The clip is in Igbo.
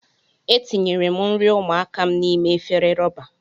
Etinyere m nri ụmụaka m n'ime efere rọba.